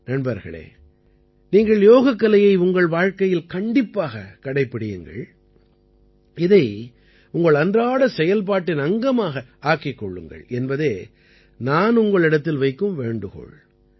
நண்பர்களே நீங்கள் யோகக்கலையை உங்கள் வாழ்க்கையில் கண்டிப்பாகக் கடைப்பிடியுங்கள் இதை உங்கள் அன்றாட செயல்பாட்டின் அங்கமாக ஆக்கிக் கொள்ளுங்கள் என்பதே நான் உங்களிடத்தில் வைக்கும் வேண்டுகோள்